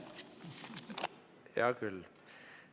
Hea küll.